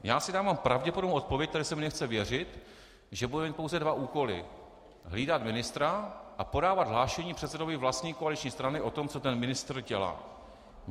Já si dávám pravděpodobnou odpověď, které se mi nechce věřit, že bude mít pouze dva úkoly: hlídat ministra a podávat hlášení předsedovi vlastní koaliční strany o tom, co ten ministr dělá.